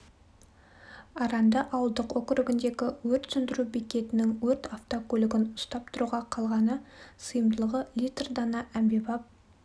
аранды ауылдық округіндегі өрт сөндіру бекетінің өрт автокөлігін ұстап тұруға қалғаны сыйымдылығы литр дана әмбебап